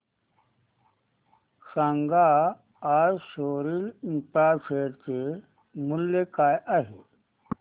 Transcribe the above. सांगा आज Soril Infra share चे मूल्य काय आहे